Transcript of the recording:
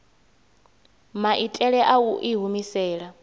maitele a u i humisela